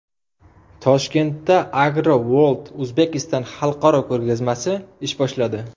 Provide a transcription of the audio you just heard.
Toshkentda Agro World Uzbekistan xalqaro ko‘rgazmasi ish boshladi.